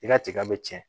I ka tiga bɛ tiɲɛ